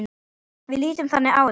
Við lítum þannig á þetta.